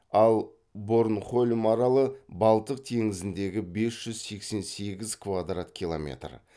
ал борнхольм аралы балтық теңізіндегі бес жүз сексен сегіз квадрат километр